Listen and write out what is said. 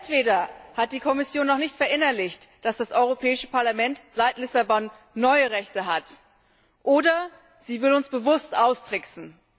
Entweder hat die Kommission noch nicht verinnerlicht, dass das Europäische Parlament seit Lissabon neue Rechte hat, oder sie will uns bewusst austricksen.